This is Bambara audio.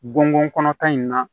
Gɔngɔnta in na